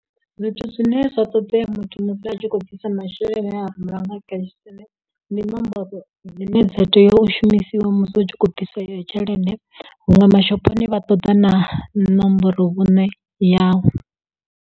Zwithu zwine zwa ṱoḓea muthu musi a tshi kho u bvisa masheleni e a rumelwa nga cash send ndi nomboro dzine dza tea u shumisiwa musi u tshi khou bvisa iyo tshelede huṅwe mashophoni vha ṱoḓa na ṋomboro vhuṋe yau.